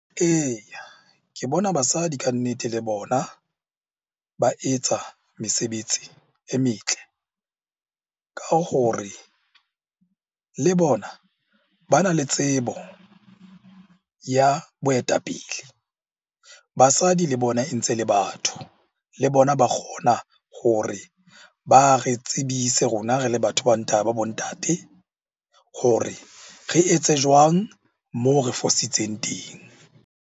Eya, ke bona basadi ka nnete le bona ba etsa mesebetsi e metle ka hore le bona bana le tsebo ya boetapele. Basadi le bona e ntse le batho, le bona ba kgona hore ba re tsebise rona re le batho ba bo ntate ba bo ntate hore re etse jwang moo re fositseng teng?